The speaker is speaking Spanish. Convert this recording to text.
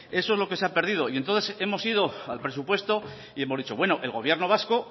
eso es lo que se ha perdido y entonces hemos ido al presupuesto y hemos dicho bueno el gobierno vasco